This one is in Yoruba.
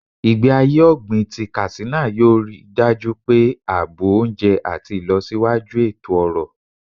Igbesi aye ogbin ti Katsina yoo rii daju pe aabo ounje ati ilosiwaju eto-ọrọ.